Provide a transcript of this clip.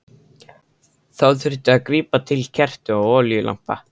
Þá þurfti að grípa til kerta og olíulampa.